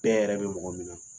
yɛrɛ bɛ mɔgɔ min na,